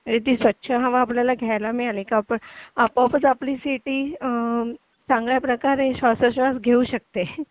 म्हणजे ती स्वच्छ हवा आपल्याला घ्यायला मिळाली की आपोआपच आपली सिटी चांगल्या प्रकारे श्वासो श्वास घेऊ शकते